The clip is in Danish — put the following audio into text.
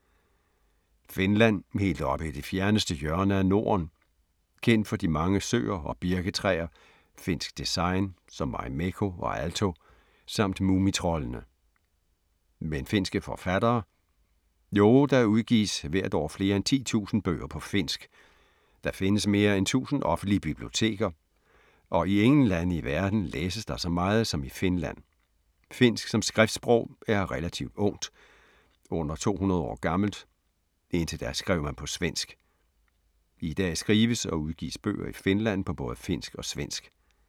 Finland, helt oppe i det fjerneste hjørne af Norden. Kendt for de mange søer og birketræer, finsk design som Marimekko og Aalto samt Mumitroldene. Men finske forfattere? Jo, der udgives hvert år flere end 10.000 bøger på finsk, der findes mere end 1.000 offentlige biblioteker og i ingen lande i verden læses der så meget som i Finland. Finsk som skriftsprog er relativt ungt, under 200 år gammelt, indtil da skrev man på svensk. I dag skrives og udgives bøger i Finland på både finsk og svensk.